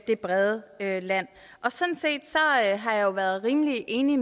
det brede land sådan set har jeg været rimelig enig